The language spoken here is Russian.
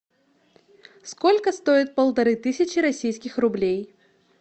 сколько стоит полторы тысячи российских рублей